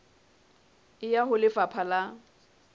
e ya ho lefapha la